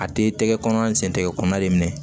A den tɛgɛ kɔnɔ a sen tɛgɛ kɔnɔna de minɛ